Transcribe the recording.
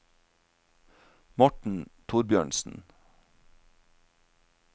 Morten Thorbjørnsen